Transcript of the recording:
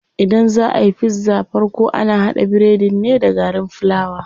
Idan zaa ayi pizza farko ana haɗa biredin ne da garin fulawa.